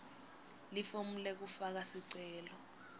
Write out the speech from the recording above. lifomu lekufaka sicelo